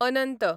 अनंत